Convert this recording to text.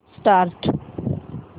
start